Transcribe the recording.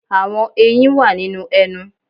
Àwọn eyín wà nínú ẹnu.